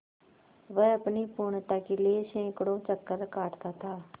वह अपनी पूर्णता के लिए सैंकड़ों चक्कर काटता था